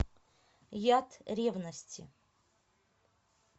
яд ревности